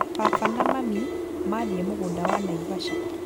Baba na mami mathiĩ mũgũnda wa Naivasha